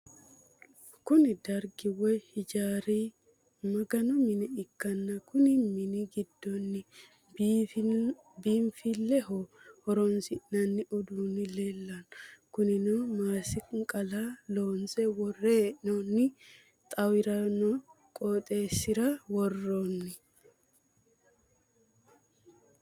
Kunni dargi woyi hijaari maganu mine ikanna konni minni gidoonni biinfileho horoonsi'noonni uduunni leelano kunnino masiqala loonse wore hee'noonni xawanoreno qooxeesisira woroonni.